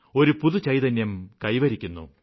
ഒരു പുതുചൈതന്യം കൈവരിക്കുന്നു